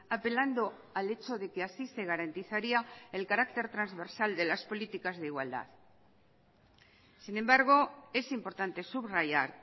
apelando al hecho de que así se garantizaría el carácter transversal de las políticas de igualdad sin embargo es importante subrayar